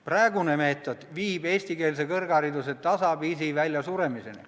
Praegune meetod viib eestikeelse kõrghariduse tasapisi väljasuremiseni.